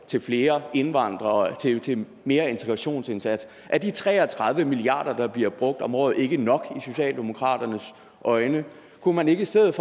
til flere indvandrere til mere integrationsindsats er de tre og tredive milliard kr der bliver brugt om året ikke nok i socialdemokratiets øjne kunne man ikke i stedet